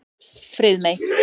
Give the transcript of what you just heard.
Friðmey